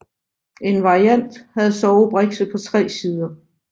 En variant havde sovebrikse på tre sider